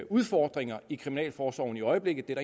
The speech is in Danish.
udfordringer i kriminalforsorgen i øjeblikket det er